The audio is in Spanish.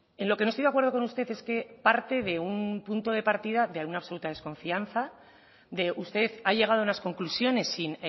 en lo que nos estoy de acuerdo con usted es que parte de un punto de partida de una absoluta desconfianza usted ha llegado a unas conclusiones sin